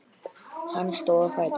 Hann stóð á fætur.